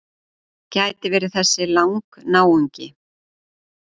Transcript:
Gæti verið þessi Lang-náungi.